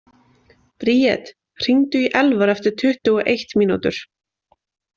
Bríet, hringdu í Elvar eftir tuttugu og eitt mínútur.